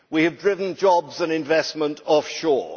We have driven jobs and investment offshore.